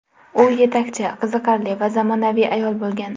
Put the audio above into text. U yetakchi, qiziqarli va zamonaviy ayol bo‘lgan.